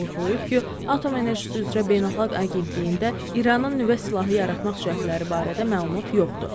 O vurğulayıb ki, Atom Enerjisi üzrə Beynəlxalq Agentliyində İranın nüvə silahı yaratmaq cəhdləri barədə məlumat yoxdur.